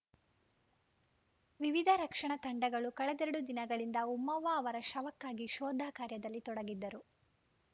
ವಿವಿಧ ರಕ್ಷಣಾ ತಂಡಗಳು ಕಳೆದೆರಡು ದಿನಗಳಿಂದ ಉಮ್ಮವ್ವ ಅವರ ಶವಕ್ಕಾಗಿ ಶೋಧ ಕಾರ್ಯದಲ್ಲಿ ತೊಡಗಿದ್ದರು